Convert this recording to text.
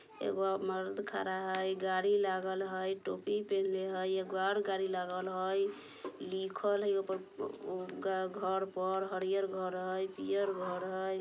एगो मर्द खरा हई गाड़ी लागल हई टोपी पहिनले हई एगो और गाड़ी लागल हई लिखल है ऊपर उ घऱ पर हरियर घर हई पीयर घर हई।